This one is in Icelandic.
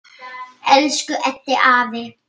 Elsku Eddi afi.